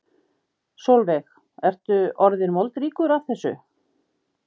Sólveig: Ertu orðinn moldríkur af þessu?